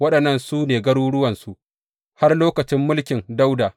Waɗannan su ne garuruwansu har lokacin mulkin Dawuda.